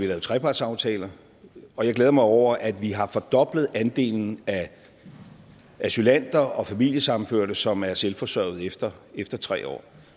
lavet trepartsaftaler og jeg glæder mig over at vi har fordoblet andelen af asylanter og familiesammenførte som er selvforsørgende efter efter tre år